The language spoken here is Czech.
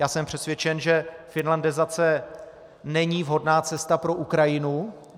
Já jsem přesvědčen, že finlandizace není vhodná cesta pro Ukrajinu.